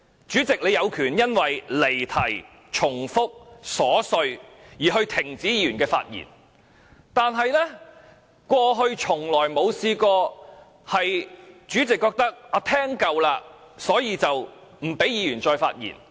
主席，你有權因為離題、重複、瑣屑而停止議員的發言，但過去從未出現主席覺得聽夠了而不讓議員再發言。